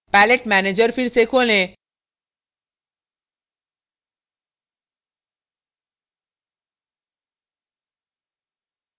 palette manager फिर से खोलें